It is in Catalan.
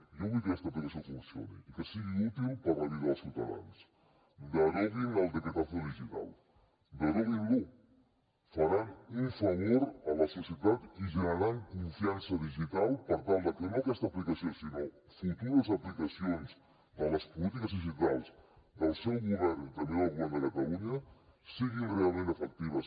jo vull que aquesta aplicació funcioni i que sigui útil per a la vida dels ciutadans deroguin el decretazo digital deroguin lo faran un favor a la societat i generaran confiança digital per tal que no aquesta aplicació sinó futures aplicacions de les polítiques digitals del seu govern i també del govern de catalunya siguin realment efectives